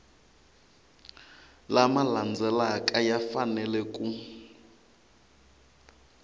lama landzelaka ya fanele ku